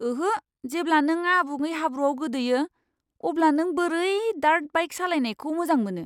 ओहो। जेब्ला नों आबुङै हाब्रुआव गोदोयो, अब्ला नों बोरै डार्ट बाइक सालायनायखौ मोजां मोनो?